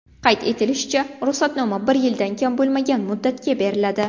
Qayd etilishicha, ruxsatnoma bir yildan kam bo‘lmagan muddatga beriladi.